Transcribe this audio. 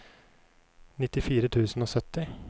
nittifire tusen og sytti